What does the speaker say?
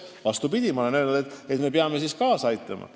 Vastupidi, ma olen öelnud, et me peame siin kaasa aitama.